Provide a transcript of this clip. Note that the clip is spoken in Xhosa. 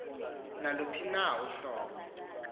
naluphi na uhlobo